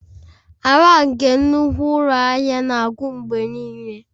Ala nke nnukwu ụlọ ahịa na-akụ mgbe niile